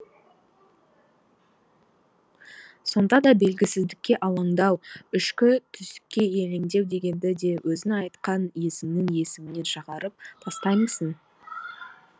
сонда да белгісіздікке алаңдау ішкі түйсікке елеңдеу дегенді де өзің айтқан есіңнің есігінен шығарып тастаймысың